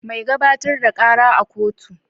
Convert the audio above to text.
Mai gabatar da kara a kotu